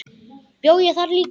Bjó ég þar líka?